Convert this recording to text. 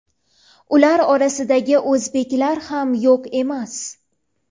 ular orasida o‘zbeklar ham yo‘q emas.